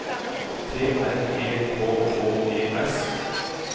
T R E K K E S